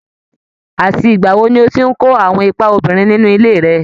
Àti ìgbà wo ni o ti ń kó àwọn ipa obìnrin nínú ilé rẹ?